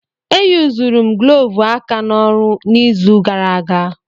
E yuzuru m glọvu aka n'ọrụ n'izu gara aga.